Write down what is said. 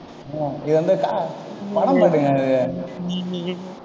இது வந்து க~ படம் பாட்டுங்க இது. நீ நீ